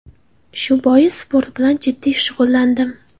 Shu bois sport bilan jiddiy shug‘ullandim.